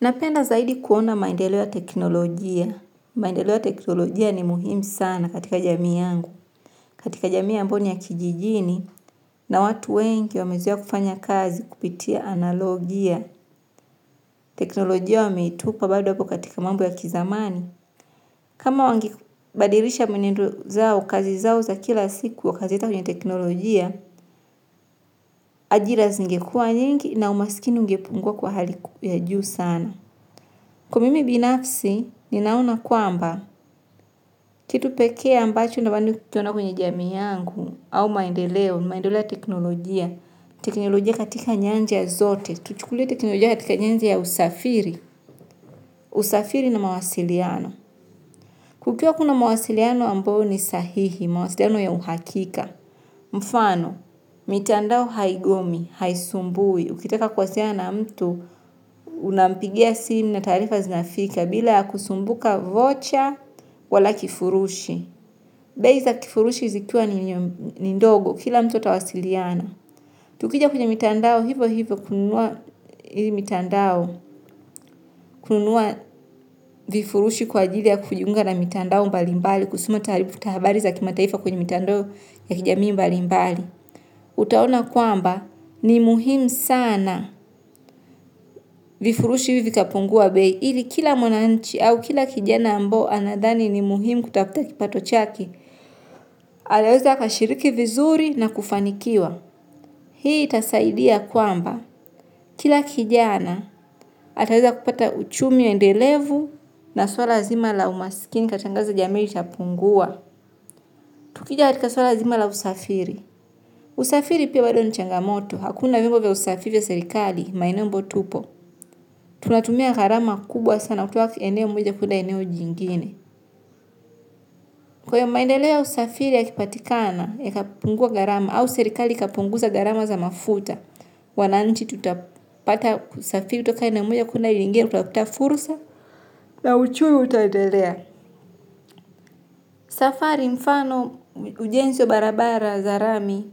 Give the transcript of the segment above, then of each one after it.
Napenda zaidi kuona maendeleo ya teknolojia. Maendeleo ya teknolojia ni muhimu sana katika jamii yangu. Katika jamii ambayo ni ya kijijini na watu wengi wamezoea kufanya kazi kupitia analojia. Teknolojia wameitupa bado hapo katika mambo ya kizamani. Kama wangibadirisha mwenendo zao, kazi zao za kila siku wa katika kwenye teknolojia, ajira zingekua nyingi na umasikini ungepungua kwa hali ya juu sana. Kwa mimi binafsi, ninaona kuamba, kitu peke ambacho nabando kiona kwenye jami yangu au maendeleo, maendeleo ya teknolojia, teknolojia katika nyanja ya zote, kuchukulia teknolojia katika nyanja ya usafiri, usafiri na mawasiliano. Kukiwa kuna mawasiliano ambao ni sahihi, mawasiliano ya uhakika. Mfano, mitandao haigomi, haisumbui. Ukitaka kuwasiliano na mtu, unampigia simu na tarifa zinafika bila ya kusumbuka vocha wala kifurushi. Bei za kifurushi zikua ni ndogo kila mtu ata wasiliana. Tukija kwenye mitandao hivo hivo kununua hivi mitandao kununua vifurushi kwa ajili ya kujiunga na mitandao mbali mbali kusoma tarifa habari za kima taifa kwenye mitandao ya kijami mbali mbali. Utaona kwamba ni muhimu sana vifurushi hivi kapungua bei ili kila mwananchi au kila kijina ambo anadhani ni muhimu kutafuta kipato chake. Anaweza akashiriki vizuri na kufanikiwa. Hii itasaidia kwamba kila kijana ataweza kupata uchumi ya endelevu na swala zima la umasikini katangaza jamii itapungua. Tukija hatika swala zima la usafiri. Usafiri pia bado ni changamoto hakuna vimbo vya usafiri ya serikali maeneo ambao tupo. Tunatumia garama kubwa sana kutoka kwenye eneo mweja kuenda eneo jingine. Kwa ya maendeleo ya usafiri ya kipatikana yatapungua garama au serikali kapunguza garama za mafuta. Wananchi tutapata kusafiri utoka eneo mmoja kuenda lingine kutafuta furusa. Na uchumi utaendelea. Safari mfano ujensi wa barabara zarami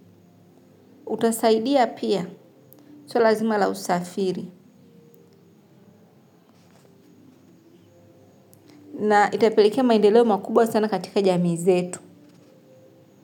utasaidia pia So lazima la usafiri na itapelekea maendeleo makubwa sana katika jamii zetu.